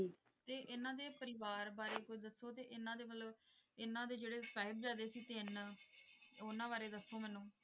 ਤੇ ਇਹਨਾਂ ਦੇ ਪਰਿਵਾਰ ਬਾਰੇ ਕੁੱਝ ਦੱਸੋ ਤੇ ਇਹਨਾਂ ਦੇ ਮਤਲਬ ਇਹਨਾਂ ਦੇ ਜਿਹੜੇ ਸਾਹਿਬਜ਼ਾਦੇ ਸੀ ਤਿੰਨ ਉਹਨਾਂ ਬਾਰੇ ਦੱਸੋ ਮੈਨੂੰ